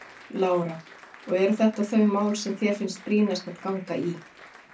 Lára: Og eru þetta þau mál sem þér finnst brýnast að ganga í?